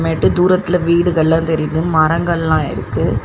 மேட்டு தூரத்துல வீடுகள்லா தெரியிது மரங்கள்லாம் இருக்கு.